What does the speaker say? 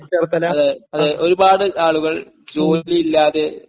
അതെ, അതെ, ഒരുപാട് ആളുകൾ..